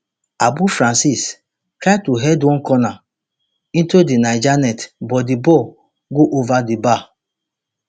abu francis try to head one corner into di niger net but di ball go ova di bar